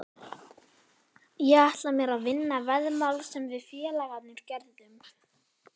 Ég ætla mér að vinna veðmál sem við félagarnir gerðum.